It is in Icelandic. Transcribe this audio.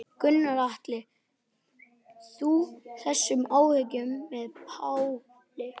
Gunnar Atli: Deilir þú þessum áhyggjum með Páli?